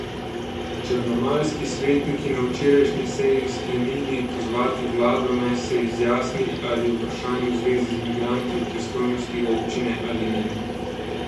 Črnomaljski svetniki na včerajšnji seji sklenili pozvati vlado, naj se izjasni, ali je vprašanje v zvezi z migranti v pristojnosti občine ali ne.